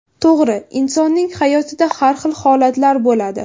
To‘g‘ri, insonning hayotida har xil holatlar bo‘ladi.